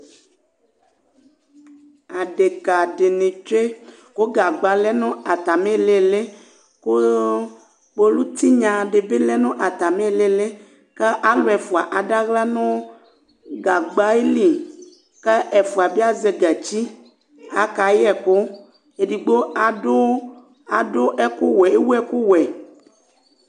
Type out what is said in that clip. Adéka dini tchué ku gagba lɛ nu atimi ɩlili ku kpolu tiyna dibi lɛnu atami ilili ku alu ɛfua ada aɣla nu gagba ayili kǝ ɛfua bia zɛ gatchi, akayɛku, édihbo adu ɛku wuɛ éwu ekuwuɛ